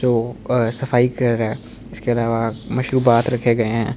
तो अ सफाई कर रहा है इसके अलावा मशरूबात रखे गए हैं।